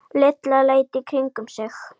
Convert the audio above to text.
Lilla leit í kringum sig.